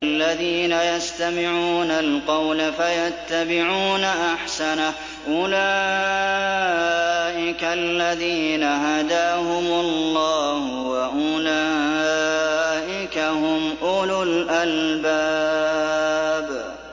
الَّذِينَ يَسْتَمِعُونَ الْقَوْلَ فَيَتَّبِعُونَ أَحْسَنَهُ ۚ أُولَٰئِكَ الَّذِينَ هَدَاهُمُ اللَّهُ ۖ وَأُولَٰئِكَ هُمْ أُولُو الْأَلْبَابِ